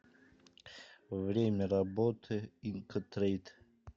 время работы инкотрейд